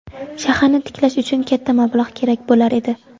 Shaharni tiklash uchun katta mablag‘ kerak bo‘lar edi.